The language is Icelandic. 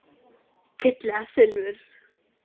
Gull eða silfur?